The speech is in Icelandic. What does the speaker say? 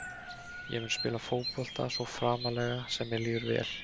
Ég mun spila fótbolta svo framarlega sem að mér líður vel.